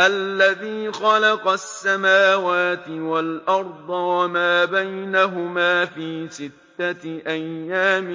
الَّذِي خَلَقَ السَّمَاوَاتِ وَالْأَرْضَ وَمَا بَيْنَهُمَا فِي سِتَّةِ أَيَّامٍ